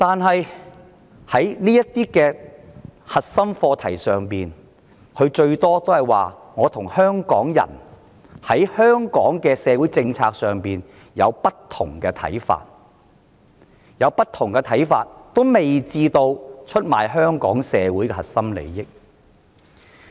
然而，在這些核心課題上，特首最多只是說她與香港人對香港的社會政策看法不同，而看法不同也未至於會出賣香港社會的核心利益。